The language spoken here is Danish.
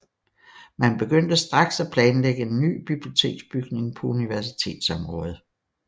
Man begyndte straks at planlægge en ny biblioteksbygning på universitetsområdet